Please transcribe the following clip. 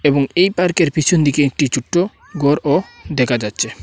এবং এই পার্কের পিছন দিকে একটি ছুট্ট ঘরও দেখা যাচ্ছে।